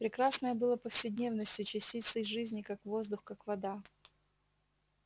прекрасное было повседневностью частицей жизни как воздух как вода